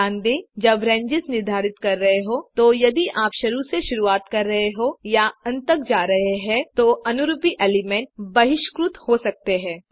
ध्यान दें जब रेंजेस निर्धारित कर रहे हों तो यदि आप शुरू से शुरुआत कर रहे हैं या अंत तक जा रहे हैं तो अनुरूपी एलिमेंट बहिष्कृत हो सकते हैं